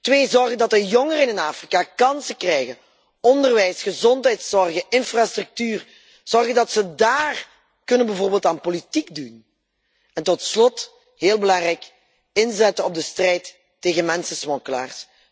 Twee zorgen dat de jongeren in Afrika kansen krijgen, onderwijs, gezondheidszorg, infrastructuur, zorgen dat ze daar bijvoorbeeld aan politiek kunnen doen en tot slot, heel belangrijk inzetten op de strijd tegen mensensmokkelaars.